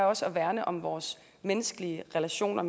også at værne om vores menneskelige relationer